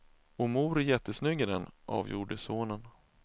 Och mor är jättesnygg i den, avgjorde sonen.